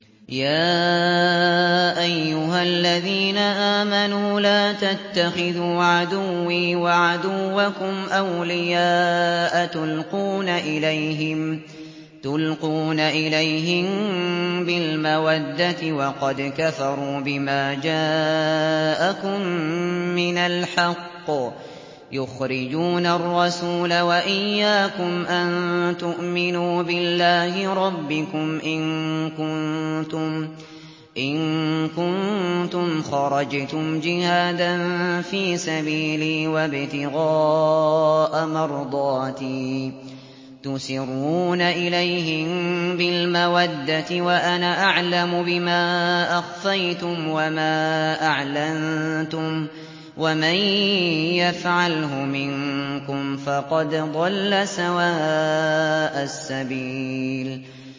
يَا أَيُّهَا الَّذِينَ آمَنُوا لَا تَتَّخِذُوا عَدُوِّي وَعَدُوَّكُمْ أَوْلِيَاءَ تُلْقُونَ إِلَيْهِم بِالْمَوَدَّةِ وَقَدْ كَفَرُوا بِمَا جَاءَكُم مِّنَ الْحَقِّ يُخْرِجُونَ الرَّسُولَ وَإِيَّاكُمْ ۙ أَن تُؤْمِنُوا بِاللَّهِ رَبِّكُمْ إِن كُنتُمْ خَرَجْتُمْ جِهَادًا فِي سَبِيلِي وَابْتِغَاءَ مَرْضَاتِي ۚ تُسِرُّونَ إِلَيْهِم بِالْمَوَدَّةِ وَأَنَا أَعْلَمُ بِمَا أَخْفَيْتُمْ وَمَا أَعْلَنتُمْ ۚ وَمَن يَفْعَلْهُ مِنكُمْ فَقَدْ ضَلَّ سَوَاءَ السَّبِيلِ